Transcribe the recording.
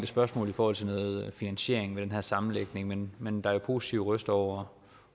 spørgsmål i forhold til noget finansiering med den her sammenlægning men men der er positive røster over